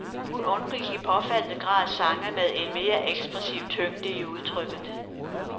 Hun undgik i påfaldende grad sange med en mere ekspressiv tyngde i udtrykket.